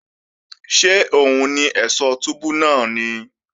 Ṣé òun ni ẹ̀ṣọ̀ túbú náà ni?